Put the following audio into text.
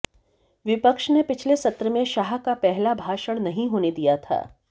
विपक्ष ने पिछले सत्र मे शाह का पहला भाषण नहीं होने दिया था